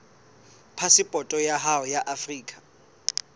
phasepoto ya hao ya afrika